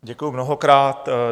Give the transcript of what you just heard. Děkuju mnohokrát.